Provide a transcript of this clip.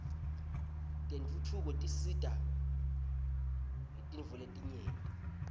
tentfutfuko tsisita ngetntfoletingenti